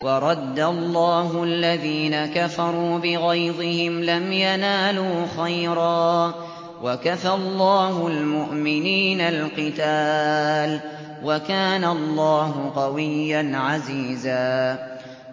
وَرَدَّ اللَّهُ الَّذِينَ كَفَرُوا بِغَيْظِهِمْ لَمْ يَنَالُوا خَيْرًا ۚ وَكَفَى اللَّهُ الْمُؤْمِنِينَ الْقِتَالَ ۚ وَكَانَ اللَّهُ قَوِيًّا عَزِيزًا